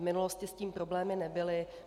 V minulosti s tím problémy nebyly.